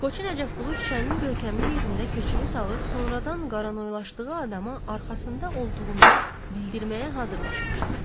Qoçu Nəcəfqulu küçənin görkəmli yerində köçünü salıb sonradan qaranoylaşdığı adamı arxasında olduğunu bildirməyə hazırlaşmışdı.